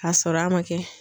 K'a sɔrɔ a ma kɛ.